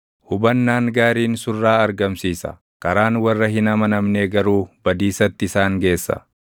Hubannaan gaariin surraa argamsiisa; karaan warra hin amanamnee garuu // badiisatti isaan geessa.